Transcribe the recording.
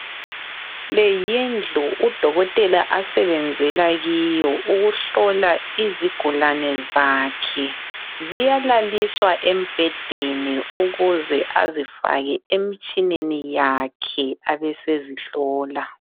Le yindlu udokotela asebenzela kiyo ukuhlola izigulane zakhe. Ziyalaliswa embhedeni ukuze azifake emtshineni yakhe abe sezihlola.